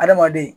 Adamaden